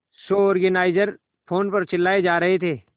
show organiser phone पर चिल्लाए जा रहे थे